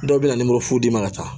Dɔw bɛ na nimorofu d'i ma ka taa